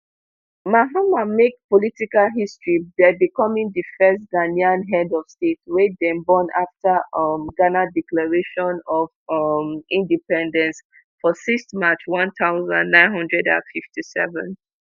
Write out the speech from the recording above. mahama make political history by becoming di first ghanaian head of state wey dem born afta um ghana declaration of um independence for sixth march one thousand, nine hundred and fifty-seven